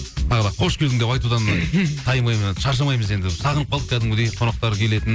тағы да қош келдің деп айтудан тайынбаймын шаршамаймыз енді біз сағынып қалдық кәдімгідей қонақтар келетін